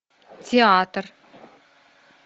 театр